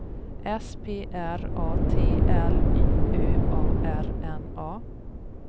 S P R A T L Y Ö A R N A